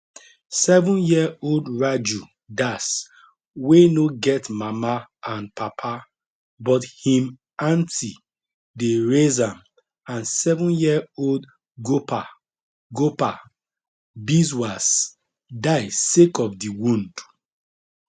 sevenyearold raju das wey no get mama and papa but him aunty dey raise am and sevenyearold gopal gopal biswas die sake of di wound